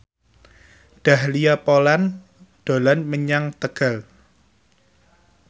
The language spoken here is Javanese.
Dahlia Poland dolan menyang Tegal